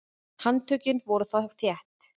Handtökin voru þá þétt.